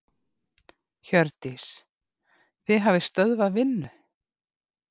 Hjördís: Þið hafið stöðvað vinnu?